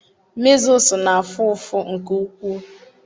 measles na-afụ ụfụ nke ukwuu.